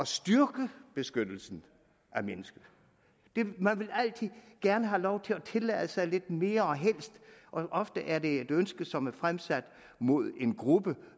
styrke beskyttelsen af mennesker man vil altså gerne have lov til at tillade sig lidt mere og ofte er det et ønske som er fremsat mod en gruppe